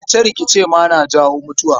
Rikice-rikice ma na jawo mutuwa.